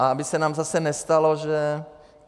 A aby se nám zase nestalo, že...